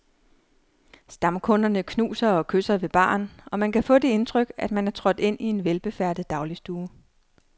Stamkunderne knuser og kysser ved baren, og man kan få det indtryk, at man er trådt ind i en velbefærdet dagligstue.